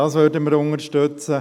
Dies würden wir unterstützen.